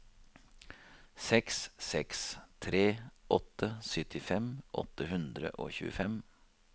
seks seks tre åtte syttifem åtte hundre og tjuefem